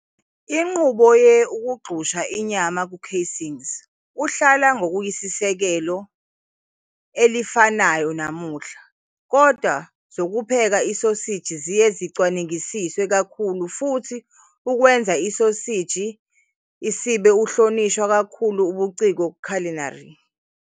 Inqubo ye ukugxusha inyama ku casings uhlala ngokuyisisekelo elifanayo namuhla, kodwa zokupheka isoseji ziye elicwengisiswe kakhulu futhi ukwenza isoseji isibe ohlonishwa kakhulu ubuciko Culinary.